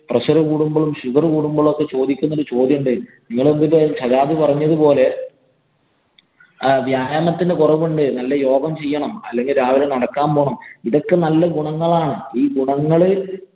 pressure കൂടുമ്പോഴും, sugar കൂടുമ്പോഴും ചോദിക്കുന്ന ഒരു ചോദ്യമുണ്ട്. നിങ്ങള് എന്തിന്‍റെ സജാദ് പറഞ്ഞത് പോലെ വ്യായാമത്തിന്‍റെ കുറവുണ്ട്. യോഗ ചെയ്യണം. അല്ലെങ്കി രാവിലെ നടക്കാന്‍ പോകണം. ഇതൊക്കെ നല്ല ഗുണങ്ങളാണ്. ഈ ഗുണങ്ങള്